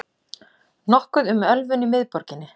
Nokkuð um ölvun í miðborginni